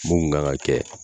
Mun kun kan ka kɛ